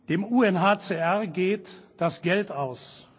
Dem UNHCR geht das Geld aus.